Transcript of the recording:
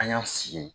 An y'an sigi